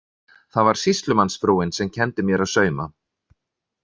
Það var sýslumannsfrúin sem kenndi mér að sauma.